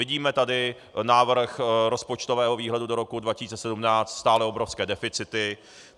Vidíme tady návrh rozpočtového výhledu do roku 2017 - stále obrovské deficity.